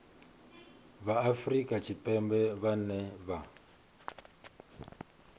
vha afrika tshipembe vhane vha